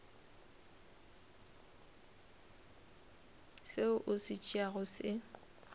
seo o se tšeago se